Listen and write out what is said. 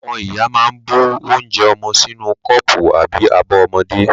Àwọn ìyá ma ń bu onje ọmọwọ́ sínú kọ́pù àbí abọ́ ọmọdé.